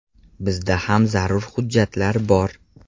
Bizda ham zarur hujjatlar bor.